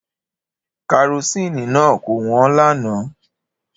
Karosini náà kò wọ́n lánàá.